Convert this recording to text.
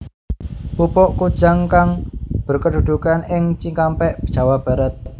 Pupuk Kujang kang berkedudukan ing Cikampek Jawa Barat